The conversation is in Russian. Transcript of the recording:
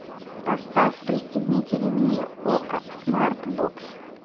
поставь пристегните ремни окко смарт бокс